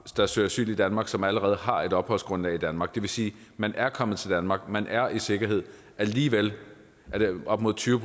der søger asyl i danmark som allerede har et opholdsgrundlag i danmark det vil sige at man er kommet til danmark og man er i sikkerhed og alligevel er det op mod tyve